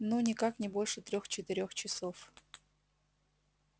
ну никак не больше трех-четырех часов